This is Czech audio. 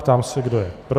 Ptám se, kdo je pro.